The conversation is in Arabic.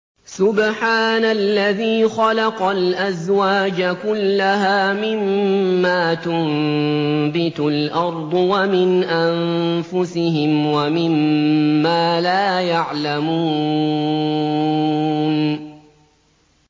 سُبْحَانَ الَّذِي خَلَقَ الْأَزْوَاجَ كُلَّهَا مِمَّا تُنبِتُ الْأَرْضُ وَمِنْ أَنفُسِهِمْ وَمِمَّا لَا يَعْلَمُونَ